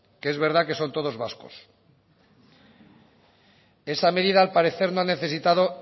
que es verdad que son todos vascos esa medida al parecer no ha necesitado